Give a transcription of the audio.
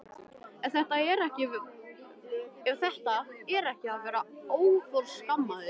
Ef þetta er ekki að vera óforskammaður!!